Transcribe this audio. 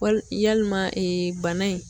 Wali yalima bana in.